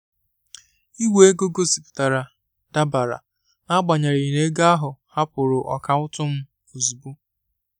Ìgwè ego gosipụtara "dabara" n'agbanyeghị na ego ahụ hapụrụ akaụntụ m ozugbo.